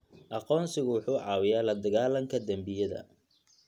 Aqoonsigu wuxuu caawiyaa la dagaallanka dembiyada.